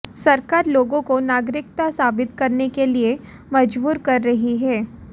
सरकार लोगों को नागरिकता साबित करने के लिए मजबूर कर रही है